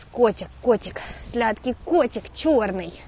котик котик сладкий котик чёрный